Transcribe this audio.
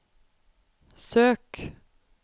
søk